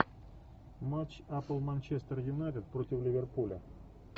матч апл манчестер юнайтед против ливерпуля